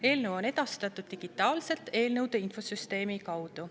Eelnõu on edastatud digitaalselt eelnõude infosüsteemi kaudu.